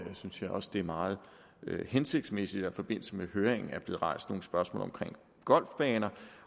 synes jeg også det er meget hensigtsmæssigt at forbindelse med høringen er blevet rejst nogle spørgsmål omkring golfbaner